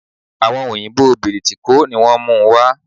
Àwon òyìbó Bìrìtìkó ni wón múu wa